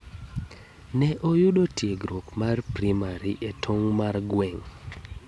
Ne oyudo stiegruok mar primari e tong' mar gweng.